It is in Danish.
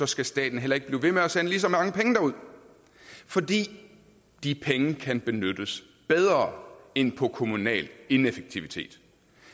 skal staten heller ikke blive ved med at sende lige så mange penge derud for de de penge kan benyttes bedre end på kommunal ineffektivitet